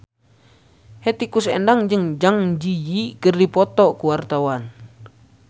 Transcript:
Hetty Koes Endang jeung Zang Zi Yi keur dipoto ku wartawan